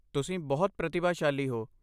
ਤੁਸੀਂ ਬਹੁਤ ਪ੍ਰਤਿਭਾਸ਼ਾਲੀ ਹੋ।